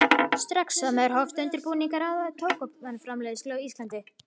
Strax sama ár hófst undirbúningur að tóbaksframleiðslu á Íslandi.